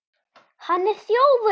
HANN ER ÞJÓFUR!